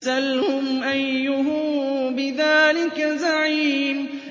سَلْهُمْ أَيُّهُم بِذَٰلِكَ زَعِيمٌ